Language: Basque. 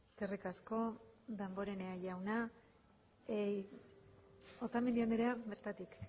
eskerrik asko damborenea jauna otamendi andrea bertatik